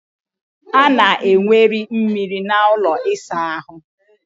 A na enweriri mmiri n'ụlọ ịsa ahụ